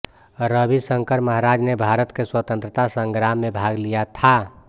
रविशङ्कर महाराज ने भारत के स्वतन्त्रता सङ्ग्राम मे भाग लिया था